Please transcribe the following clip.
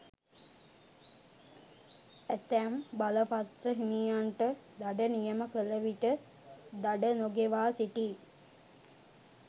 ඇතැම් බලපත්‍ර හිමියන්ට දඩ නියම කළ විට දඩ නොගෙවා සිටියි.